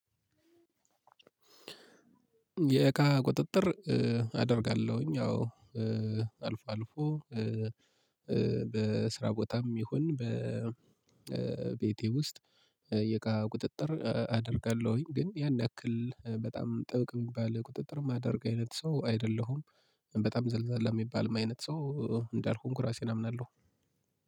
የእቃ ቁጥጥር አደርጋለሁኝ አዎ አልፎ አልፎ። በስራ ቦታም ይሁን በቤቴ ውስጥ የእቃ ቁጥጥር አደርጋለሁኝ ግን ያን ያክል በጣም ጥብቅ የሚባል ቁጥጥር የማደርግ አይነት ሰው አይደለሁም። በጣም ዘልዛላ የሚባል አይነት ሰው እንዳልሆንኩ ራሴን አምናለሁ።